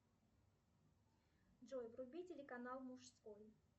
джой вруби телеканал мужской